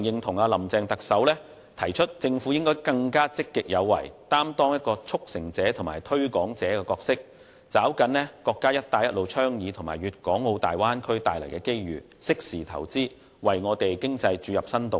我非常認同特首"林鄭"提出政府應更積極有為，擔當"促成者"和"推廣者"的角色，抓緊國家倡議"一帶一路"和"粵港澳大灣區"帶來的機遇，適時投資，為香港經濟注入新動力。